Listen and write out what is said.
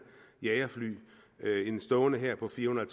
jagerfly og en stående hær på firehundrede